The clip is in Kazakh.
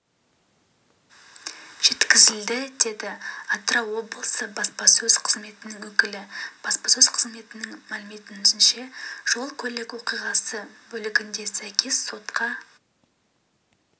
жеткізілді деді атырау облысы баспасөз қызметінің өкілі баспасөз қызметінің мәліметінше жол-көлік оқиғасы бөлігінде сәйкес сотқа